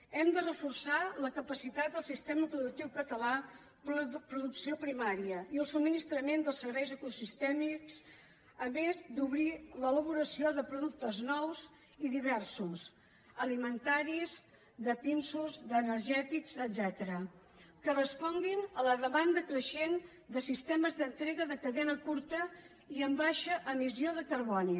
hem de reforçar la capacitat del sistema productiu català producció primària i el subministrament dels serveis ecosistèmics a més d’obrir l’elaboració de productes nous i diversos alimentaris de pinsos d’energètics etcètera que responguin a la demanda creixent de sistemes d’entrega de cadena curta i amb baixa emissió de carboni